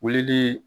Wulili